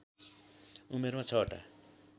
उमेरमा ६ वटा